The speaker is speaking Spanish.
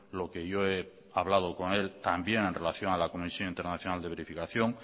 lo que yo he hablado con él también en relación a la comisión internacional de verificación